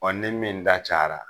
ni min da cayara